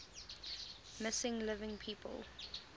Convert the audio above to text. missing living people